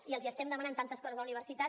i els estem demanant tantes coses a la universitat